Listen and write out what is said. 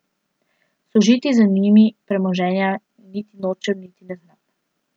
Služiti z njimi premoženja niti nočem niti ne znam.